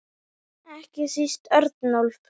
Ekki síst Örnólf.